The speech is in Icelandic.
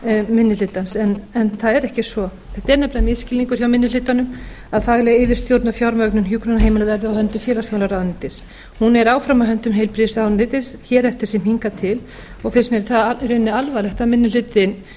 minni hlutans en það er ekki svo þetta er nefnilega misskilningur hjá minni hlutanum að fagleg yfirstjórn og fjármögnun hjúkrunarheimila verði á höndum félagsmálaráðuneytis hún er áfram á höndum heilbrigðisráðuneytis hér eftir sem hingað til og finnst mér það í rauninni alvarlegt að minni hlutinn